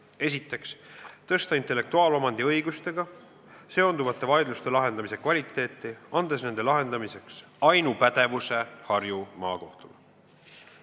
Esiteks, tõsta intellektuaalomandiõigustega seonduvate vaidluste lahendamise kvaliteeti, andes nende lahendamiseks ainupädevuse Harju Maakohtule.